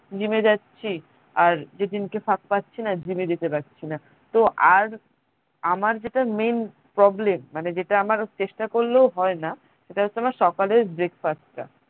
gym এ যাচ্ছি আর যেদিনকে ফাক পাচ্ছিনা gym এ যেতে পারছিনা তো আর আমার যেটা main problem মানে যেটা আমার চেষ্টা করলেও হয়না সেটা হচ্ছে আমার সকালের breakfast টা